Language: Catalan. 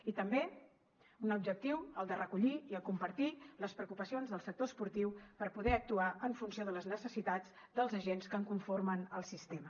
i també un altre objectiu el de recollir i compartir les preocupacions del sector esportiu per poder actuar en funció de les necessitats dels agents que en conformen el sistema